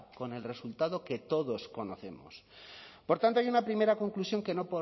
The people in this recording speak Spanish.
con el resultado que todos conocemos por tanto hay una primera conclusión que no